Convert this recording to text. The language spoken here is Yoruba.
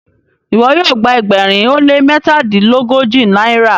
iwọ yoo gba ẹgbẹrin o le mẹtadilogoji náírà?